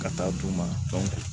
Ka taa d'u ma